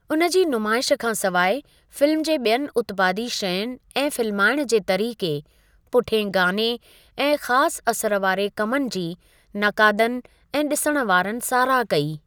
उनजी नुमाइश खां सवाइ, फिल्म जे ॿियनि उत्पादी शयुनि ऐं फिल्माइणु जे तरीक़े, पुठियें गाने ऐं ख़ासि असरु वारे कमनि जी नकादनि ऐं ॾिसणु वारनि साराह कई।